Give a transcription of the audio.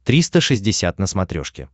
триста шестьдесят на смотрешке